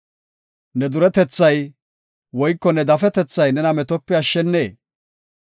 Ne duretethay woyko ne dafetethay nena metope ashshanee?